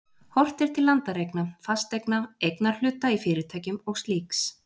Horft er til landareigna, fasteigna, eignarhluta í fyrirtækjum og slíks.